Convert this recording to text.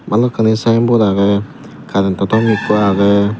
balokkani sign board agey current to tom ekko agey.